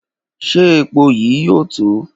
Ṣe epo yii yoo to?